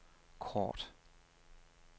kort